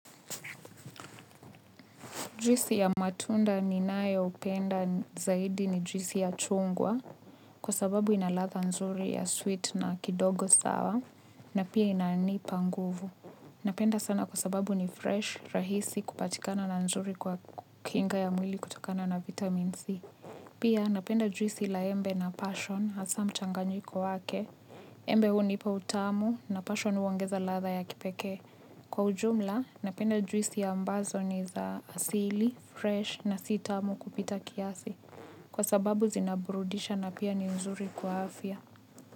Juisi ya matunda ninayopenda zaidi ni juisi ya chungwa kwa sababu inaladha nzuri ya sweet na kidogo sour na pia inanipa nguvu. Napenda sana kwa sababu ni fresh, rahisi kupatikana na nzuri kwa kinga ya mwili kutokana na vitamin C. Pia napenda juisi la embe na passion hasaa mchanganyiko wake. Embe hunipa utamu na passion uongeza ladha ya kipekee. Kwa ujumla, napenda juisi ambazo ni za asili, fresh na sitamu kupita kiasi. Kwa sababu zinaburudisha na pia ni nzuri kwa afya.